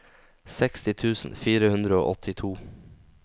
seksti tusen fire hundre og åttito